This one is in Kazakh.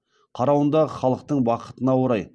қарауындағы халықтың бақытына орай